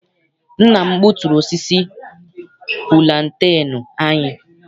Nna m gbuturu osisi pulantenu anyị.